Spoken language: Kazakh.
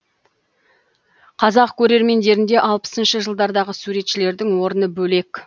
қазақ көрермендерде алпысыншы жылдардағы суретшілердің орны бөлек